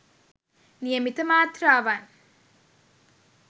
නියමිත මාත්‍රාවන්